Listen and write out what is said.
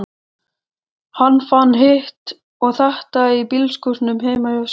Hann fann hitt og þetta í bílskúrnum heima hjá þér.